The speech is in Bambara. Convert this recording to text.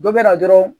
Dɔ bɛ na dɔrɔn